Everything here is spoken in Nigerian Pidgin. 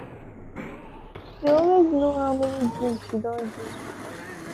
shey dey always know how many drink she don drink